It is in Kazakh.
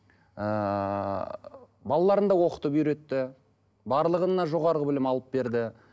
ыыы балаларын да оқытып үйретті барлығына жоғары білім алып берді